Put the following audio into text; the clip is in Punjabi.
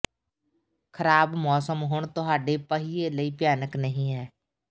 ਖ਼ਰਾਬ ਮੌਸਮ ਹੁਣ ਤੁਹਾਡੇ ਪਹੀਏ ਲਈ ਭਿਆਨਕ ਨਹੀਂ ਹੈ